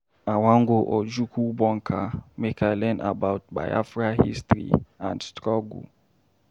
I wan go Ojukwu Bunker make I learn about Biafra history and struggle.